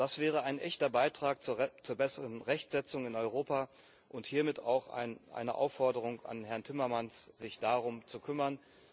Das wäre ein echter Beitrag zur besseren Rechtsetzung in Europa und hiermit auch eine Aufforderung an Herrn Timmermans, sich darum zu kümmern.